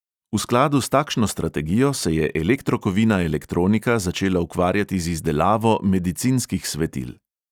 V skladu s takšno strategijo se je elektrokovina elektronika začela ukvarjati z izdelavo medicinskih svetil.